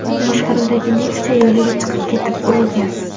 boshqaruvidagi Nexia yo‘liga chiqib ketib urilgan.